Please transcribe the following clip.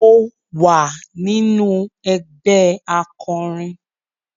Mo wà nínú ẹgbẹ́ akọrin